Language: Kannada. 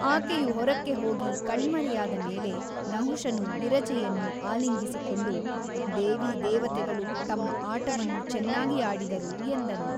ಆಕೆಯು ಹೊರಕ್ಕೆ ಹೋಗಿ ಕಣ್ಮರೆಯಾದ ಮೇಲೆ ನಹುಷನು ವಿರಜೆಯನ್ನು ಆಲಿಂಗಿಸಿಕೊಂಡು ದೇವಿ ದೇವತೆಗಳು ತಮ್ಮ ಆಟವನ್ನು ಚೆನ್ನಾಗಿ ಆಡಿದರು ಎಂದನು.